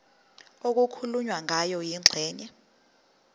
okukhulunywe ngayo kwingxenye